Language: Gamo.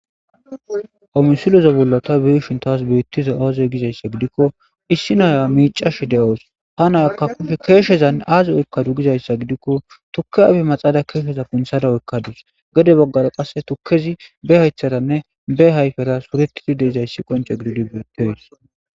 homisilo zobollota biishin taas beittiza aaze gizayssa gidikko issinoya miicash de7oos ha nayakka kufe keeshezan aazi oykkadu gizayssa gidikko tukke ayfe maxaala keesheza punthada oykkadus gede boggara qasse tukkezi be haytharanne be hayfera suretidi deezayssi qonche gididi beetteys